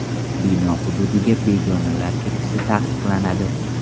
Bino hududiga begonalar kirishi taqiqlanadi.